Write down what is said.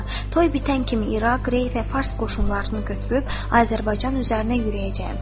Toy bitən kimi İraq, Rey və Fars qoşunlarını götürüb Azərbaycan üzərinə yürüyəcəyəm.